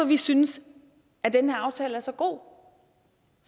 vi synes at den her aftale er så god